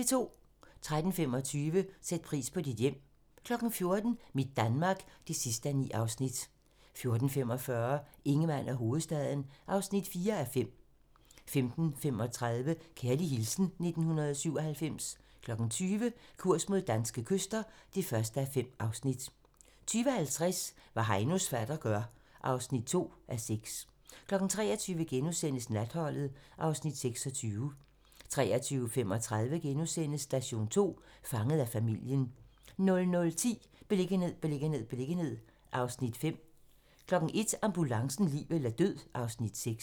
13:25: Sæt pris på dit hjem 14:00: Mit Danmark (9:9) 14:45: Ingemann og hovedstaden (4:5) 15:35: Kærlig hilsen 1997 20:00: Kurs mod danske kyster (1:5) 20:50: Hvad Heinos fatter gør (2:6) 23:00: Natholdet (Afs. 26)* 23:35: Station 2: Fanget af familien * 00:10: Beliggenhed, beliggenhed, beliggenhed (Afs. 5) 01:00: Ambulancen - liv eller død (Afs. 6)